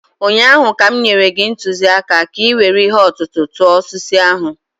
ụnyaahụ ka m nyere gị ntụziaka ka ị were ihe ọ̀tụ̀tụ̀ tụọ osisi ahụ.